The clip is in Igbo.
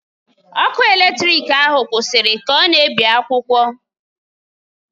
Ọkụ eletrik ahụ kwụsịrị ka ọ na-ebi akwụkwọ.